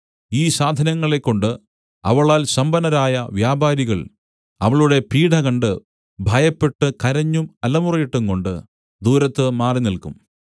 ഈ സാധനങ്ങളെകൊണ്ട് അവളാൽ സമ്പന്നരായ വ്യാപാരികൾ അവളുടെ പീഢ കണ്ട് ഭയപ്പെട്ട് കരഞ്ഞും അലമുറയിട്ടും കൊണ്ട് ദൂരത്ത് മാറിനിൽക്കും